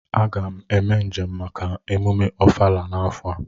Aga m eme njem maka emume ofala afo a